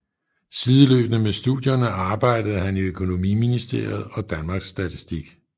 Sideløbende med studierne arbejdede han i Økonomiministeriet og Danmarks Statistik